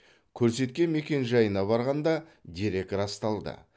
көрсеткен мекенжайына барғанда дерек расталды